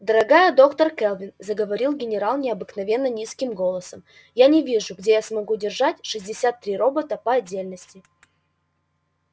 дорогая доктор кэлвин заговорил генерал необыкновенно низким голосом я не вижу где я смогу держать шестьдесят три робота по отдельности